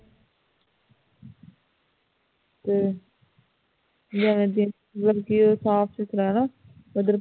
ਹੂ ਜਿਵੇ ਕਿ ਉਹ ਸਾਫ ਸੁਥਰਾ ਹੋਣਾ ਉਧਰ